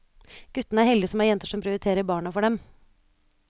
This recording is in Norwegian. Guttene er heldige som har jenter som prioriterer barna for dem.